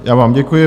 Já vám děkuji.